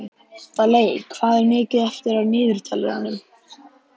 Daley, hvað er mikið eftir af niðurteljaranum?